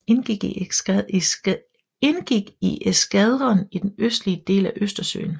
Indgik i eskadren i den østlige del af Østersøen